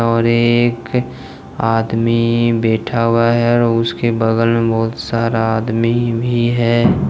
और एक आदमी बैठा हुआ है और उसके बगल में बहुत सारा आदमी भी है।